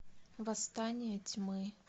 восстание тьмы